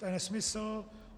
To je nesmysl.